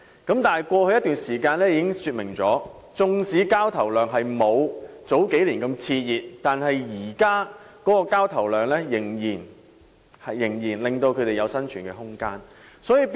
可是，過去一段時間已經說明，縱使交投量不及數年前熾熱，但現時的交投量仍足以為他們提供生存空間。